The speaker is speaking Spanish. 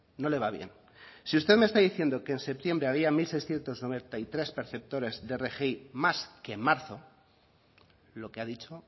no le va bien si usted me está diciendo que septiembre había mil seiscientos noventa y tres perceptores de rgi más que en marzo lo que ha dicho